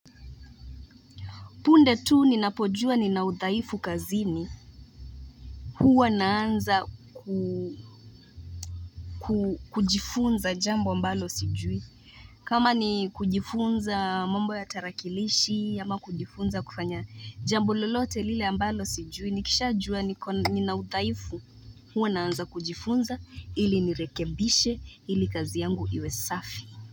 Punde tu ninapojua nina udhaifu kazini. Huwa naanza ku, kujifunza jambo ambalo sijui. Kama ni kujifunza mambo ya tarakilishi, ama kujifunza kufanya jambo lolote lile ambalo sijui. Nikisha jua niko nina udhaifu. Huwa naanza kujifunza ili nirekebishe ili kazi yangu iwe safi.